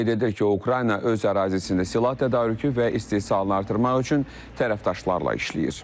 O qeyd edir ki, Ukrayna öz ərazisində silah tədarükünü və istehsalını artırmaq üçün tərəfdaşlarla işləyir.